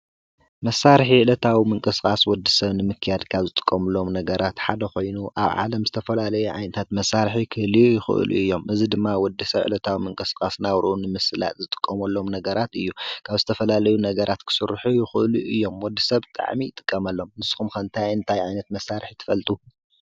መሣርሕ እለታዊ ምንቀሥቃስ ወዲ ሰብ ንምክያድ ካብ ዝጥቆምሎም ነገራት ሓደኾይኑ ኣብ ዓለም ዝተፈላለዩ ዓይንታት መሣርሒ ክህልዩ ይኽእሉ እዮም ።እዝ ድማ ወድ ሰብዕለታዊ ምንቀሥቃስ ናውርኡን ምስላጥ ዝጥቆምሎም ነገራት እዩ ካብ ዝተፈላለዩ ነገራት ክሥርኁ ይዂእሉዩ እዮም ወዲ ሰብ ቃዕሚ ጥቀመሎም ንስኹም ከንታይ እንታይ ኣይነት መሳርሒ ትፈልጡ?